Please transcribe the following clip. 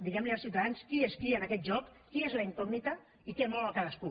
diguem los als ciutadans qui és qui en aquest joc qui és la incògnita i què mou a cadascú